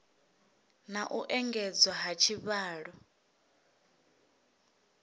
na u engedzwa ha tshivhalo